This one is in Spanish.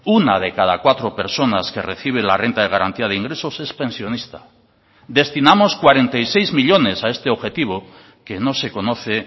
una de cada cuatro personas que recibe la renta de garantía de ingresos es pensionista destinamos cuarenta y seis millónes a este objetivo que no se conoce